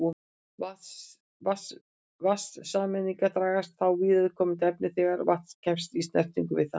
Vatnssameindirnar dragast þá að viðkomandi efni þegar vatn kemst í snertingu við það.